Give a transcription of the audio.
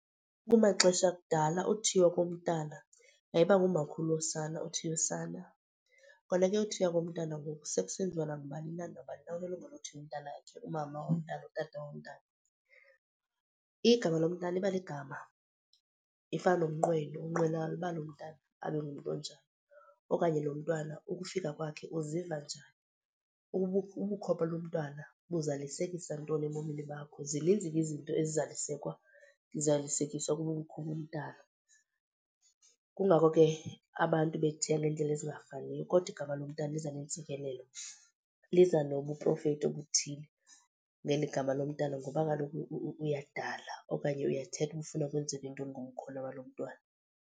Kumaxesha akudala uthiywa komntana yayiba ngumakhulu wosana othiya usana. Kona ke uthiywa komntana ngoku sekusenziwa nangubani na, nabani na unelungelo lothiya umntanakhe, umama womntana utata womntana. Igama lo mntana iba ligama ifana nomnqweno, unqwenela uba lo mntana abe ngumntu onjani okanye lo mntwana ukufika kwakhe uziva njani, ubukho balo mntwana buzalisekisa ntoni ebomini bakho. Zininzi ke izinto ezizalisekwa, zalisekiswa kobu bukho bomntana, kungako ke abantu bethiya ngeendlela ezingafaniyo. Kodwa igama lomntana liza neentsikelelo, liza nobuprofethi obuthile ngeli gama lomntana ngoba kaloku uyadala okanye uyathetha uba ufuna kwenzeka ntoni ngobukhona balo mntwana.